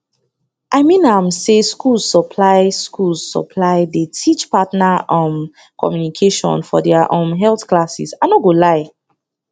i mean am say schools supply schools supply dey teach partner um communication for their um health classes i no go lie